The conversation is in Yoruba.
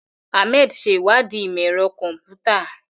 Ahmed ṣe ìwádìí ìmọ̀ ẹ̀rọ kọ̀m̀pútà.